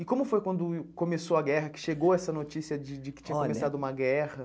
E como foi quando começou a guerra, que chegou essa notícia de de que tinha começado uma guerra?